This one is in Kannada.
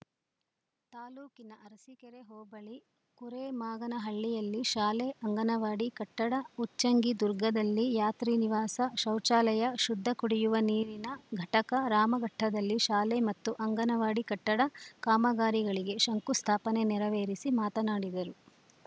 ತಾಲೂಕಿನ ಅರಸಿಕೆರೆ ಹೋಬಳಿ ಕುರೆಮಾಗನಹಳ್ಳಿಯಲ್ಲಿ ಶಾಲೆ ಅಂಗನವಾಡಿ ಕಟ್ಟಡ ಉಚ್ಚಂಗಿದುರ್ಗದಲ್ಲಿ ಯಾತ್ರಿನಿವಾಸ ಶೌಚಾಲಯ ಶುದ್ಧ ಕುಡಿಯುವ ನೀರಿನ ಘಟಕ ರಾಮಘಟ್ಟದಲ್ಲಿ ಶಾಲೆ ಮತ್ತು ಅಂಗನವಾಡಿ ಕಟ್ಟಡ ಕಾಮಗಾರಿಗಳಿಗೆ ಶಂಕುಸ್ಥಾಪನೆ ನೇರವೇರಿಸಿ ಮಾತನಾಡಿದರು